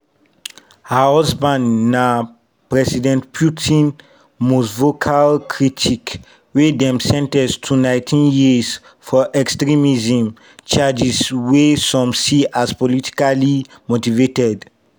her husband na president putin most vocal critic wey dem sen ten ce to 19 years for extremism charges wey some see as politically motivated.